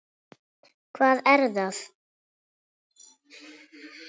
Hvar er það?